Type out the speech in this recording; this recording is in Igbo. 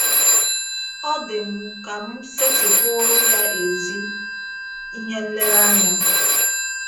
Ọ dị m ka m setịpụụrụ ya ezi ihe nlereanya.